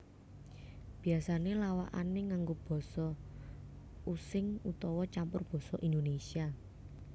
Biasané lawakané nganggo Basa Using utawa campur Basa Indonésia